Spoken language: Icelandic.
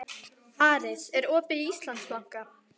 Aris, er opið í Íslandsbanka?